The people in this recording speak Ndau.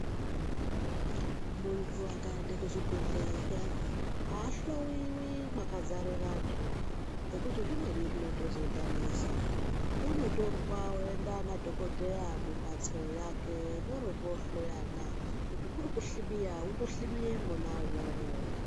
Munthu akaenda kuchibhedhlera zviyani, aahloiwi mwakadzare vanthu. Ngekuti zvimweni zvinotozodhanisa. Unotorwa oenda nadhokodheya mumphatso yake voro voohloyana kuti kuri kuhlibiya, votohlibiye mwona umwomwo.